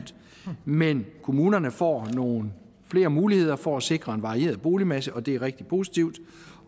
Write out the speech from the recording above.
men kommunerne får nogle flere muligheder for at sikre en varieret boligmasse og det er rigtig positivt